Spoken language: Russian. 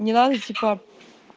не надо типа